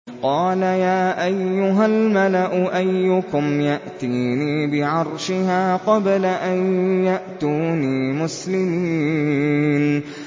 قَالَ يَا أَيُّهَا الْمَلَأُ أَيُّكُمْ يَأْتِينِي بِعَرْشِهَا قَبْلَ أَن يَأْتُونِي مُسْلِمِينَ